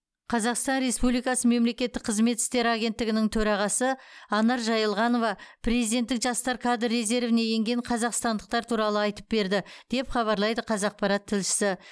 қазақстан республикасы мемлекеттік қызмет істері агенттігінің төрағасы анар жаилғанова президенттік жастар кадр резервіне енген қазақстандықтар туралы айтып берді деп хабарлайды қазақпарат тілшісі